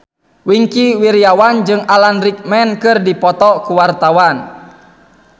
Wingky Wiryawan jeung Alan Rickman keur dipoto ku wartawan